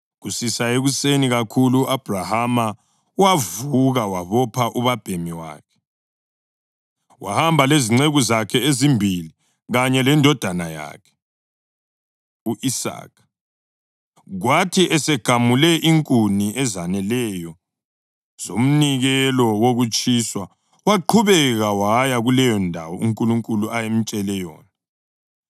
Kusisa ekuseni kakhulu u-Abhrahama wavuka wabopha ubabhemi wakhe. Wahamba lezinceku zakhe ezimbili kanye lendodana yakhe u-Isaka. Kwathi esegamule inkuni ezaneleyo zomnikelo wokutshiswa, waqhubeka waya kuleyondawo uNkulunkulu ayemtshele yona.